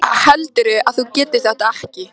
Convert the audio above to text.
Heldurðu að þú getir þetta ekki?